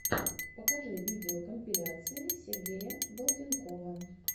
покажи видеокомпиляции сергея балденкова